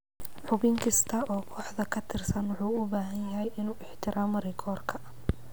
Xubin kasta oo kooxda ka tirsan wuxuu u baahan yahay inuu ixtiraamo rikoorka.